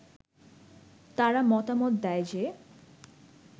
তারা মতামত দেয় যে